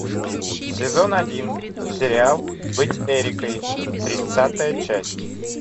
сезон один сериал быть эрикой тридцатая часть